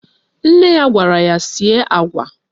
Nne ya gwara ya sie agwa